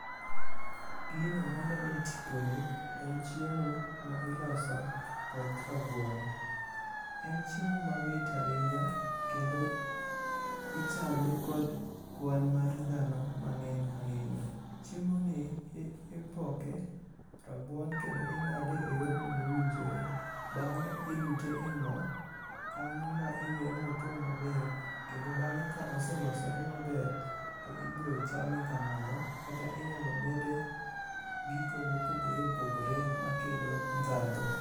Gino maneno e tiponi en chiemo ma iloso kod rabuon. En chiemo mamit ahinya kendo ichame kod kwan mar dhano mang'eny ahinya. Chiemoni ipoke rabuon kendo ing'ade eyorno mowinjore. Bang'e ilute e mo, kanyo ma iweye motwo maber, kendo bang'e ka ose losore maber, to ibiro chame kamano kata inyalo mede gi gigo mopogore opogore makelo ndhadhu.